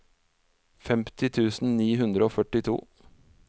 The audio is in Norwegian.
femti tusen ni hundre og førtito